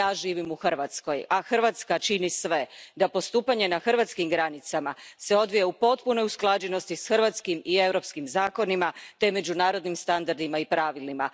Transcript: Ja živim u Hrvatskoj a Hrvatska čini sve da postupanje na hrvatskim granicama se odvija u potpunoj usklađenosti s hrvatskim i europskim zakonima te međunarodnim standardima i pravilima.